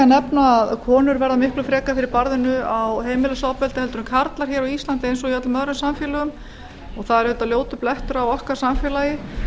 nefna að konur verða verða miklu frekar fyrir barðinu á heimilisofbeldi heldur en karlar á íslandi eins og í öllum öðrum samfélögum það er auðvitað ljótur blettur á okkar samfélagi